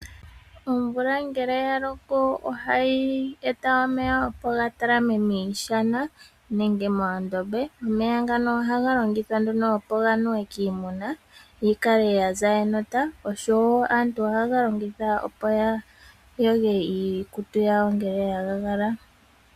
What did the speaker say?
Omvula ngele ya loko ohayi eta omeya ya talame miishana nenge moondombe. Omeya ngano ohaga longithwa okunuwa kiimuna yi kale ya za enota, oshowo aantu ohaye ga longitha okuyoga iikutu yawo ngele ya kaka.